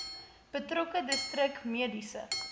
betrokke distrik mediese